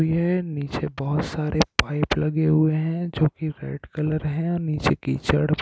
निचे बहुत सारे पाइप लगे हुए है जोकि रेड कलर है नीचे कीचड़ भरा हुआ--